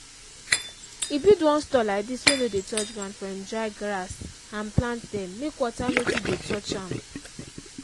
he build one store like dis wey no dey touch ground for im dry grass and plant dem make water no too dey touch am.